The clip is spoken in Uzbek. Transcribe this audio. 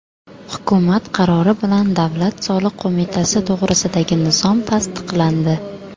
Hukumat qarori bilan Davlat soliq qo‘mitasi to‘g‘risidagi nizom tasdiqlandi.